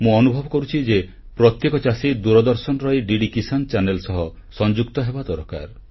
ମୁଁ ଅନୁଭବ କରୁଛି ଯେ ପ୍ରତ୍ୟେକ ଚାଷୀ ଦୂରଦର୍ଶନର ଏହି ଡିଡି କିସାନ ଚାନେଲ୍ ସହ ଯୋଡି ହେବା ଦରକାର